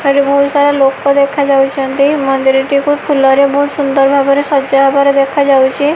ଏଠାରେ ବହୁତ ସାରା ଲୋକ ଦେଖାଯାଉଛନ୍ତି ମନ୍ଦିରଟିକୁ ଫୁଲ ରେ ବହୁତ ସୁନ୍ଦର ଭାବରେ ସଜା ହବାର ଦେଖା ଯାଉଛି।